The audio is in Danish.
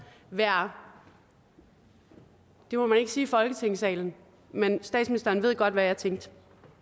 være det må man ikke sige i folketingssalen men statsministeren ved godt hvad jeg tænkte